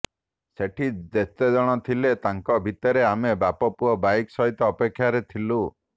ସେଠି ଯେତେଜଣ ଥିଲେ ତାଙ୍କ ଭିତରେ ଆମେ ବାପ ପୁଅ ବାଇକ୍ ସହିତ ଅପେକ୍ଷାରେ ଥିଲୁ